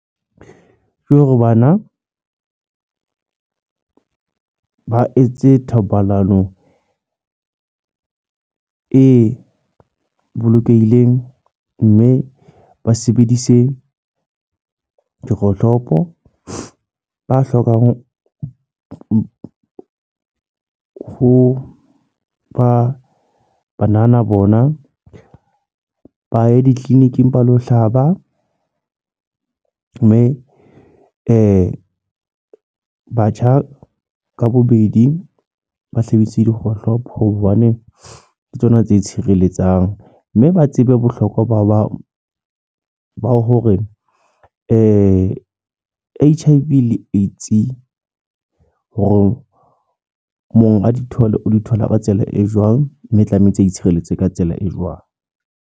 Ke hore bana ba etse thobalano e bolokehileng. Mme ba sebedise dikgohlopo. Ba hlokang ho ho ba banana bona, ba ye di-clinic-ing ba lo hlaba. Mme batjha ka bobedi, ba sebedise dikgohlopo hobane ke tsona tse tshireletsang. Mme ba tsebe bohlokwa ba ho ba ba bang. Hore H_I_V le AIDS hore monga di thole, o di thola ka tsela e jwang. Mme tlamehetse a itshireletse ka tsela e jwang.